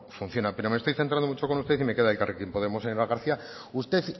funciona pero me estoy centrando mucho con usted y me queda elkarrekin podemos señora garcía usted